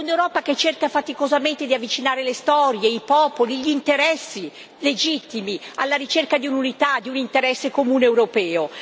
O un'Europa che cerca faticosamente di avvicinare le storie, i popoli, gli interessi legittimi, alla ricerca di un'unità, di un interesse comune europeo?